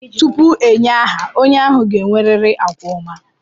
Tupu enye aha a, onye ahụ ga-enwerịrị àgwà ọma.